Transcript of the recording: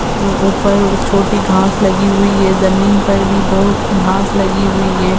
उम्म ऊपर छोटी घास लगी हुई है। ज़मीन पर भी बहुत-सी घास लगी हुई है।